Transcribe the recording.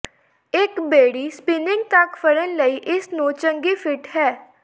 ਇੱਕ ਬੇੜੀ ਸਪਿਨਿੰਗ ਤੱਕ ਫੜਨ ਲਈ ਇਸ ਨੂੰ ਚੰਗੀ ਫਿੱਟ ਹੈ